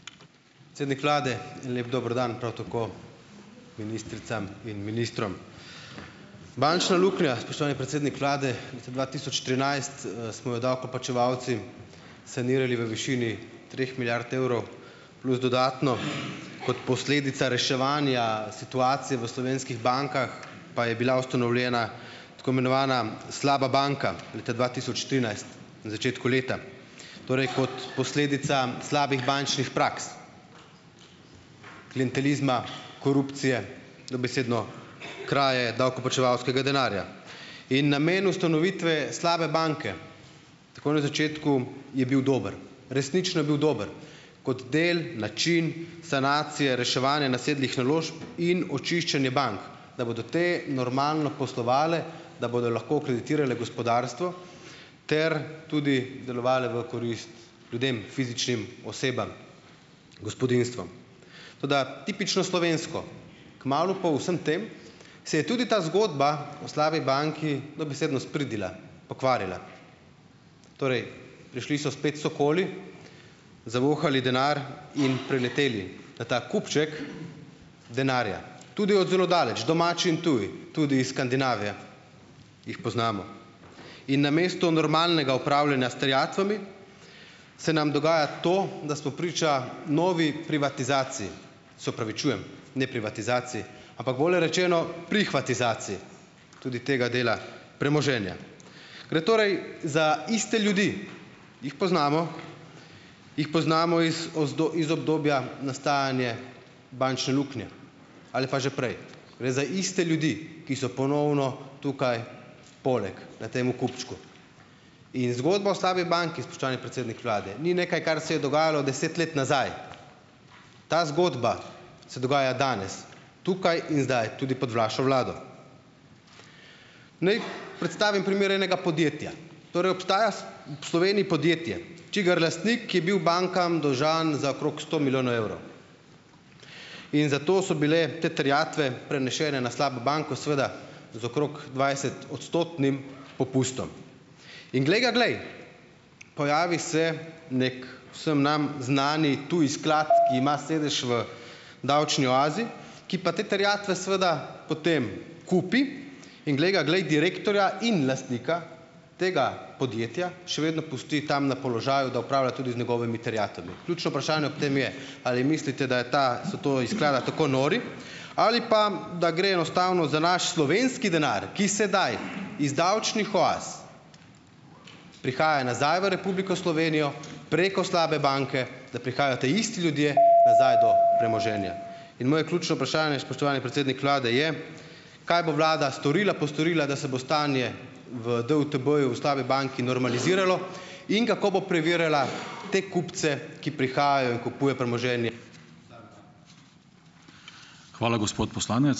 Predsednik vlade, lep dober dan, prav tako ministricam in ministrom! Bančna luknja, spoštovani predsednik vlade, leta dva tisoč trinajst, smo jo davkoplačevalci sanirali v višini treh milijard evrov plus dodatno, kot posledica reševanja situacije v slovenskih bankah pa je bila ustanovljena tako imenovana slaba banka leta dva tisoč trinajst, na začetku leta, torej kot posledica slabih bančnih praks, klientelizma, korupcije, dobesedno kraje davkoplačevalskega denarja. In namen ustanovitve slabe banke, takoj na začetku je bil dober. Resnično je bil dober kot del, način sanacije reševanja nasedlih naložb in očiščenje bank, da bodo te normalno poslovale, da bodo lahko kreditirale gospodarstvo ter tudi delovale v korist ljudem, fizičnim osebam, gospodinjstvom. Toda tipično slovensko, kmalu po vsem tem se je tudi ta zgodba o slabi banki dobesedno spridila, pokvarila. Torej prišli so spet sokoli, zavohali denar in prileteli na ta kupček denarja, tudi od zelo daleč, domači in tudi, tudi iz Skandinavije, jih poznamo. In namesto normalnega upravljanja s terjatvami se nam dogaja to, da smo priča novi privatizaciji. Se opravičujem, ne privatizaciji, ampak bolje rečeno, "prihvatizaciji" tudi tega dela premoženja. Gre torej za iste ljudi, jih poznamo, jih poznamo iz iz obdobja nastajanja bančne luknje ali pa že prej. Gre za iste ljudi, ki so ponovno tukaj poleg na temu kupčku. In zgodba o slabi banki, spoštovani predsednik vlade, ni nekaj, kar se je dogajalo deset let nazaj. Ta zgodba se dogaja danes, tukaj in zdaj, tudi pod vašo vlado. Naj predstavim primer enega podjetja. Torej obstaja s v Sloveniji podjetje, čigar lastnik je bil bankam dolžan za okrog sto milijonov evrov. In zato so bile te terjatve prenesene na slabo banko, seveda z okrog dvajsetodstotnim popustom. In glej ga glej, pojavi se neki vsem nam znani tudi sklad, ki ima sedež v davčni oazi, ki pa te terjatve seveda potem kupi in glej ga glej direktorja in lastnika tega podjetja, še vedno pusti tam na položaju, da upravlja tudi z njegovimi terjatvami. Ključno vprašanje ob tem je, ali mislite, da je ta, so to iz sklada tako nori ali pa, da gre enostavno za naš slovenski denar, ki sedaj iz davčnih oaz prihaja nazaj v Republiko Slovenijo preko slabe banke, da prihajajo ti isti ljudje nazaj do premoženja. In moje ključno vprašanje, spoštovani predsednik vlade, je: Kaj bo vlada storila, postorila, da se bo stanje v DUTB-ju, v slabi banki, normaliziralo? In kako bo preverjala te kupce, ki prihajajo in kupujejo premoženje?